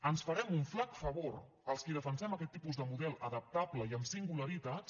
ens farem un flac favor els qui defensem aquest tipus de model adaptable i amb singularitats